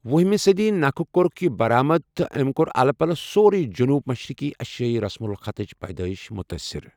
وہمہِ صدی نکھٕ کوٚرُکھ یہِ برآمد تہٕ أمۍ کوٚر الہٕ پلہٕ سورےٕ جنوب مشرقی ایشیٲیی رسم الخطٕچ پیدٲیش مُتٲثِر۔